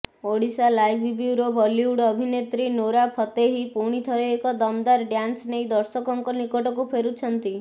Odisha live bureau Bollywood ଅଭିନେତ୍ରୀ Nora Fatehi ପୁଣିଥରେ ଏକ ଦମଦାର୍ ଡ୍ୟାନ୍ସ ନେଇ ଦର୍ଶକଙ୍କ ନିକଟକୁ ଫେରୁଛନ୍ତି